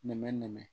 Nɛmɛnɛmɛ nɛmɛ